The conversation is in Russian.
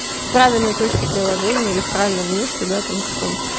правильной точке приложения или в правильном месте да там каком-то